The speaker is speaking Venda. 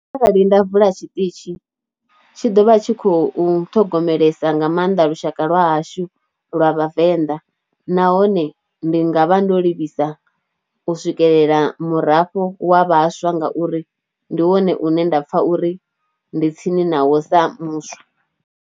Arali nda vula tshiṱitzhi tshi ḓo vha tshi khou ṱhogomelesa nga maanḓa lushaka lwa hashu lwa vhavenḓa, nahone ndi nga vha ndo livhisa u swikelela murafho wa vhaswa ngauri ndi wone une nda pfha uri ndi tsini na wo sa muswa.